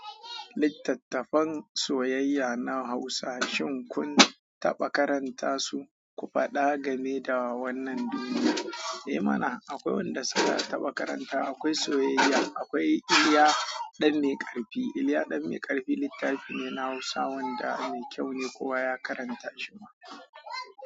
Littattafan soyayya na Hausa shin kun taɓa karanta su? Ku faɗa game da wannan duniya. Eh mana, akwai wanda suka taɓa karanta. Akwai soyayya, akwai "Iliya ɗan mai ƙarfi". Iliya ɗan mai ƙarfi littafi ne na Hausa wanda mai kyau ne kowa ya karanta shi ma.